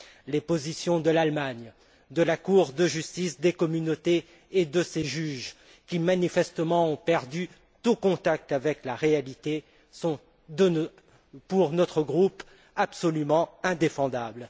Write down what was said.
Les positions de l'Allemagne, de la Cour de justice de l'Union européenne et de ses juges, qui manifestement ont perdu tout contact avec la réalité, sont pour notre groupe absolument indéfendables.